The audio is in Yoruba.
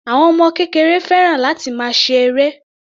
Àwọn ọmọ kékeré fẹ́ràn láti máa ṣe eré.